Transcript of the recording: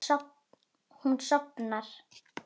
Hún sofnar.